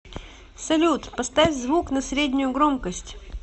салют поставь звук на среднюю громкость